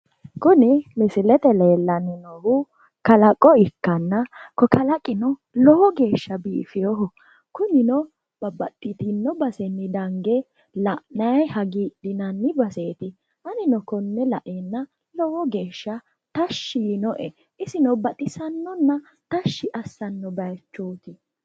Kuni misilete leellanni noohu kalaqo ikkanna ko kalaqino lowo geeshsha biifiwoho. Babbaxxitinno basenni dange la'nayi hagiidhinanni baseeti. Anino konne laeenna lowo geeshsha tashshi yinoe. Isino baxisannonna tashshi assanno bayichooti.